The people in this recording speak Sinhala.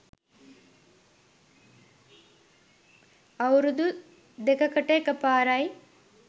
අවුරුදු දෙකකට එක පාරයි